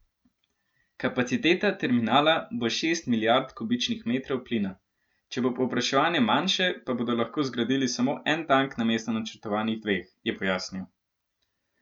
Kapaciteta terminala bo šest milijard kubičnih metrov plina, če bo povpraševanje manjše, pa bodo lahko zgradili samo en tank namesto načrtovanih dveh, je pojasnil.